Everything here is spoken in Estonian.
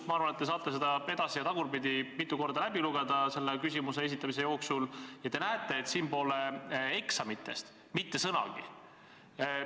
Ma arvan, et te saate selle edas- ja tagurpidi praeguse küsimuse arutamise jooksul mitu korda läbi lugeda, ja te näete, et siin pole eksamitest mitte sõnagi.